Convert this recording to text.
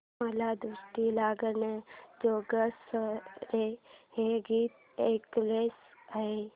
मला दृष्ट लागण्याजोगे सारे हे गीत ऐकायचे आहे